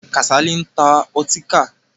Kàsálí ń ta ọtíkà.